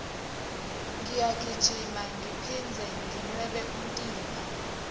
ngiyagijima ngiphindze nginwebe umtimba